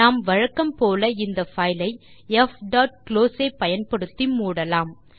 நாம் வழக்கம் போல இந்த பைல் ஐ fகுளோஸ் ஐ பயன்படுத்தி மூடலாம்